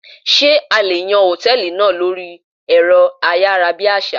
Ṣé a lè yàn Hòtẹ́lìì náà lórí èrọ ayárabíàṣá?